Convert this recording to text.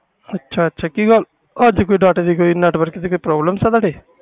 ਅੱਛਾ ਅੱਛਾ ਅੱਜ ਕਿ ਗੱਲ network ਜਾ data ਵਿਚ problem ਕੋਈ